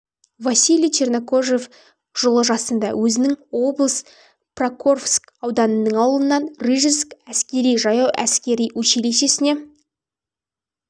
василий чернокожев жылы жасында өзінің облысы покровск ауданының ауылынан рижск әскери-жаяу әскер училищесіне